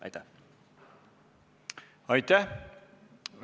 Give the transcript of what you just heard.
Aitäh!